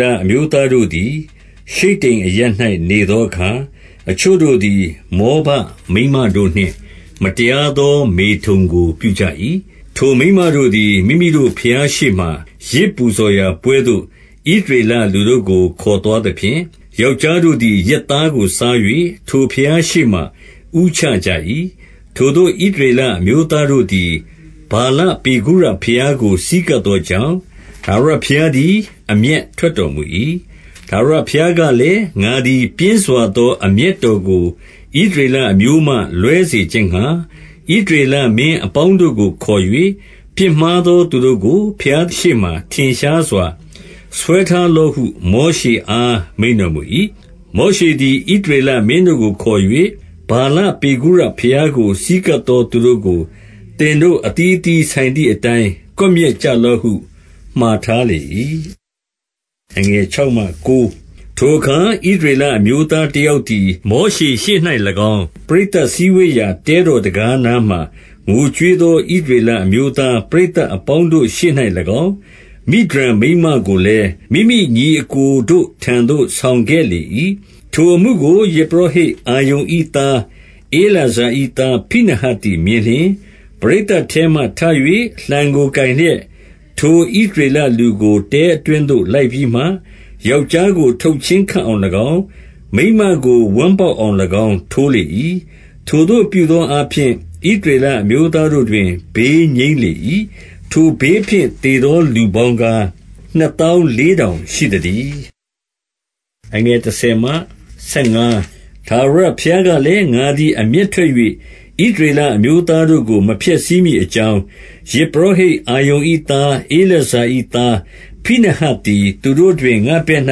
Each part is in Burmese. လ အမျိုးသားတို့သည် ရှိတ္တိမ်အရပ်၌ နေသောအခါ၊ အချို့တို့သည် မောဘမိန်းမတို့နှင့် မတရား သော မေထုန်ကိုပြုကြ၏။ ထိုမိန်းမတို့သည် မိမိတို့ ဘုရားရှေ့မှာ ယဇ် ပူဇော်ရာပွဲသို့ ဣသရေလ လူတို့ကို ခေါ်သွားသဖြင့်၊ ယောက်ျားတို့ သည် ယဇ်သားကို စား၍ ထိုဘုရား ရှေ့မှာ ဦးချကြ၏။ ထိုသို့ဣသရေလ အမျိုးသားတို့သည်၊ ဗာလ ပေဂုရဘုရားကို ဆည်းကပ်သောကြောင့်၊ ထာဝရဘုရား သည် အမျက်ထွက်တော်မူ၏။ ထာဝရဘုရားကလည်း၊ ငါသည်ပြင်းစွာသော အမျက်တော်ကို ဣသရေလအမျိုးမှ လွဲစေခြင်းငှာ၊ ဣသရေလမင်းအပေါင်းတို့ကို ခေါ်၍၊ ပြစ်မှားသော သူတို့ကို ဘုရားရှေ့မှာ ထင်ရှားစွာ ဆွဲထားလော့ဟု မောရှေအား မိန့်တော်မူ၏။ မောရှေ့သည် ဣသရလမင်းတို့ကို ခေါ်၍၊ ဗာလပေဂုရ ဘုရားကို ဆည်းကပ်သော သူတို့ကို သင်တို့ အသီးသီးဆိုင်သည်အတိုင်း ကွပ်မျက်ကြလော့ဟု မှာထားလေ၏။ ထိုအခါ ဣသရေလ အမျိုးသားတယောက် သည်၊ မောရှေ့ရှေ့၌၎င်း၊ ပရိသတ်စည်းဝေးရာ တဲတော် တံခါးနားမှာ ငိုကြွေးသော ဣသရေလအမျိုးသား ပရိသတ်အပေါင်းတို့ရှေ့၌၎င်း၊ မိဒျန်မိန်းမကိုလည်း၊ မိမိညီအစ်ကိုတို့ ထံသို့ဆောင်ခဲ့လေ၏။ ထိုအမှုကို ယဇ်ပုရောဟိတ်အာရုန်၏သား ဧလာဇာ၏သား ဖိနဟတ်သည် မြင်လျှင်၊ ပရိသတ်ထဲမှာ ထ၍ လှံကိုကိုင်လျက်၊ ထိုဣသရေလလူကို တဲအတွင်းသို့ လိုက်ပြီးမှ၊ ယောက်ျားကို ထုတ်ချင်းခပ်အောင်၎င်း၊ မိန်းမကို ဝမ်းပေါက်အောင်၎င်း ထိုးလေ၏။ ထိုသို့ပြုသောအားဖြင့် ဣသရေလအမျိုးသားတို့တွင် ဘေးငြိမ်းလေ၏။ ထိုဘေးဖြင့် သေသောလူပေါင်းကား၊ နှစ်သောင်း လေးထောင်ရှိသတည်း။ ထာဝရဘုရားကလည်း၊ ငါသည် အမျက်ထွက်၍ ဣသရေလ အမျိုးသား တို့ကို မဖျက်ဆီးမည်အကြောင်း၊ ယဇ်ပုရောဟိတ် အာရုန်၏သား ဧလာဇာ၏ သား၊ ဖိနဟတ်သည် သူတို့တွင် ငါ့ဘက်၌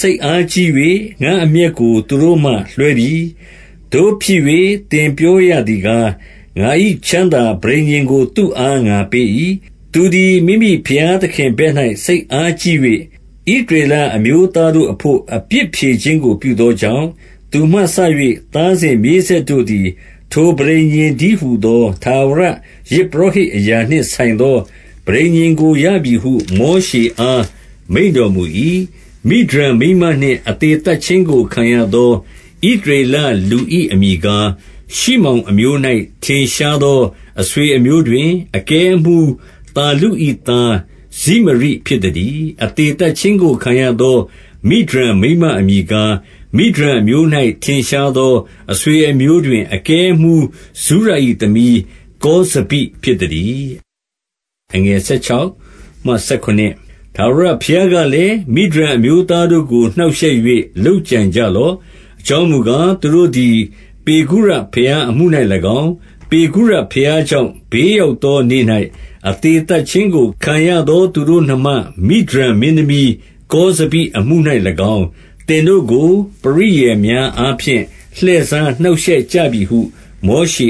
စိတ်အားကြီး၍ ငါ့အမျက်ကို သူတို့မှလွှဲပြီ။ သို့ဖြစ်၍ သင်ပြောရသည်ကား၊ ငါ၏ချမ်းသာ ပဋိညာဉ်ကို သူ့အား ငါပေး၏။ သူသည် မိမိဘုရားသခင်ဘက်၌ စိတ်အားကြီး ၍ ဣသရေလအမျိုးသားတို့အဘို့ အပြစ်ဖြေခြင်းကို ပြုသောကြောင့်၊ သူမှစ၍ သားစဉ်မြေးဆက်တို့သည် ထိုပဋိညာဉ်တည်းဟူသော ထာဝရယဇ်ပုရောဟိတ် အရာနှင့်ဆိုင်သော ပဋိညာဉ်ကို ရပြီဟု မောရှေအား မိန့် တော်မူ၏။ မိဒျန်မိန်းမနှင့် အသေသတ်ခြင်းကိုခံရသော ဣသရေလလူ၏ အမည်ကား၊ ရှိမောင်အမျိုး၌ ထင်ရှား သော အဆွေအမျိုးတွင် အကဲအမှူးသာ လု၏သား ဇိမရိဖြစ်သတည်း။ အသေသတ်ခြင်းကိုခံရသော မိဒျန် မိန်းမ အမည်ကား၊ မိဒျန်အမျိုး၌ ထင်ရှားသော အဆွေအမျိုး တွင် အကဲအမှူးဇုရ၏ သမီး ကောဇဘိဖြစ် သတည်း။ ထာဝရဘုရားကလည်း၊ မိဒျန်အမျိုးသားတို့ကို နှောင့်ရှက်၍ လုပ်ကြံကြလော့။ အကြောင်းမူကား၊ သူတို့သည် ပေဂုရဘုရား အမှု၌၎င်း၊ ပေဂုရဘုရားကြောင့် ဘေးရောက်သောနေ့၌ အသေသတ်ခြင်းကို ခံရသော သူတို့နှမ မိဒျန်မင်းသမီး ကောဇဘိ အမှု၌၎င်း၊ သင်တို့ကို ပရိယာယ်များ အားဖြင့် လှည့်စားနှောင့်ရှက်ကြပြီဟု မောရှ